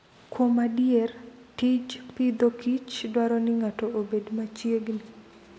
Kuom adier, tij Agriculture and Food dwaro ni ng'ato obed machiegni.